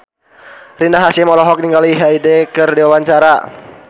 Rina Hasyim olohok ningali Hyde keur diwawancara